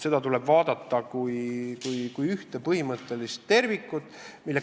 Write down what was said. Seda tuleb vaadata kui ühte põhimõttelist tervikut.